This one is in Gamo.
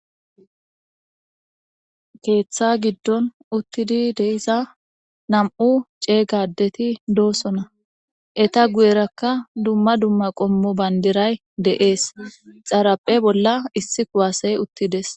keeththa giddon uttidi deiza nam7u ceeygadeti doosona eta guyerakka dumma dumma qommo bayndiray deees xaraphe bolla issi kuwaaseye uttides